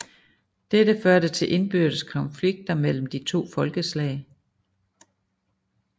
Dette førte til indbyrdes konflikter mellem de to folkeslag